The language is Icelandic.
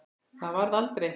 Það varð aldrei.